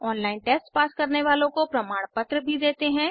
online test pass करने वालों को प्रमाणपत्र भी देते हैं